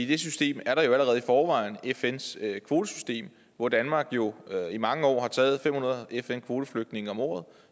det system er der allerede i forvejen fns kvotesystem hvor danmark jo i mange år har taget fem hundrede fn kvoteflygtninge om året